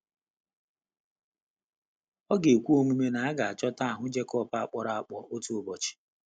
Ọ ga-ekwe omume na a ga-achọta ahụ Jacob a kpọrọ akpọ otu ụbọchị?